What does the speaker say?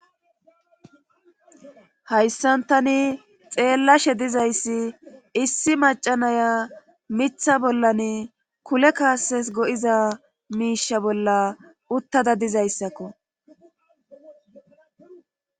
Hayssan tani xeellashe dizayssi issi macca naya mitha bollan kule kaases go7iza miisha bolla uttada dizayssakko.